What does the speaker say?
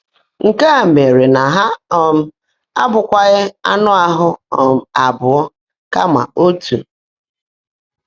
Nkè mèèré ná há um ábụ́kwághị́ áńụ́ áhụ́ um abụọ́, kàmà ótú.”